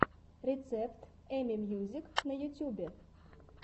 рецепт эми мьюзик на ютюбе